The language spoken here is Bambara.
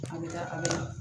An bɛ taa an ka